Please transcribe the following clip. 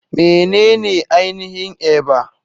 Menene ainihin Eba?